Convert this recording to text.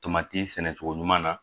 Tomati sɛnɛcogo ɲuman na